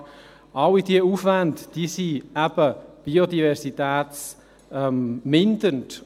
Alle diese Aufwendungen sind eben biodiversitätsmindernd.